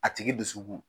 A tigi dusukun